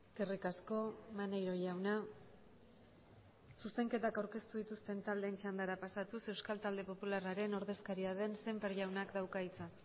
eskerrik asko maneiro jauna zuzenketak aurkeztu dituzten taldeen txandara pasatuz euskal talde popularraren ordezkaria den sémper jaunak dauka hitza